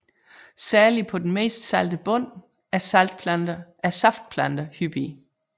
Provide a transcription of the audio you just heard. Særlig på den mest salte bund er saftplanter hyppige